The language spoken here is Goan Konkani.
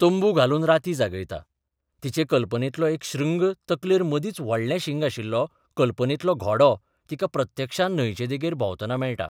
तंबू घालून राती जागयता तिचे कल्पनेंतलो एक श्रृंग तकलेर मदींच व्हडलें शिंग आशिल्लो कल्पनेंतलो घोडो तिका प्रत्यक्षांत न्हंयचे देगेर भोंवतना मेळटा.